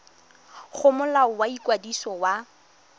go molao wa ikwadiso wa